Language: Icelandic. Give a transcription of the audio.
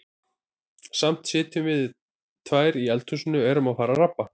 Samt sitjum við tvær í eldhúsinu og erum að fara að rabba.